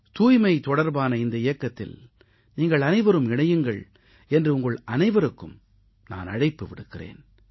தூய்மை தொடர்பான இந்த இயக்கத்தில் நீங்கள் அனைவரும் இணையுங்கள் என்று உங்கள் அனைவருக்கும் நான் அழைப்பு விடுக்கிறேன்